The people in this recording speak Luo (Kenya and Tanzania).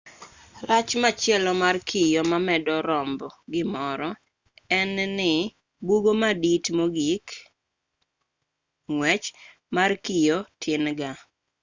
rach machielo mar kio mamedo romb gimoro en ni bugo madit mogikng'wechmar kiyo tin gaa